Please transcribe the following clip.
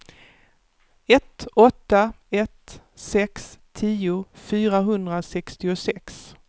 ett åtta ett sex tio fyrahundrasextiosex